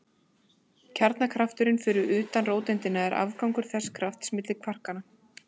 Kjarnakrafturinn fyrir utan róteindina er afgangur þessa krafts milli kvarkanna.